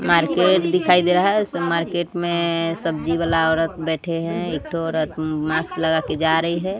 Market दिखाई दे रहा है इस मार्केट में सब्जी वाला औरत बैठे हैं एक औरत मास्क लगा के जा रही है।